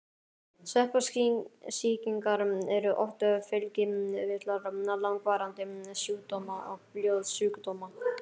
Sveppasýkingar eru oft fylgikvillar langvarandi sjúkdóma og blóðsjúkdóma.